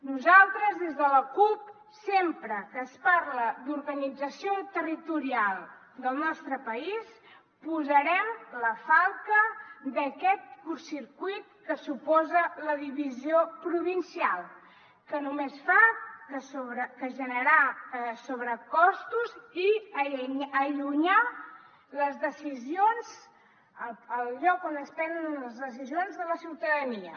nosaltres des de la cup sempre que es parla d’organització territorial del nostre país posarem la falca d’aquest curtcircuit que suposa la divisió provincial que només fa que generar sobrecostos i allunyar el lloc on es prenen les decisions de la ciutadania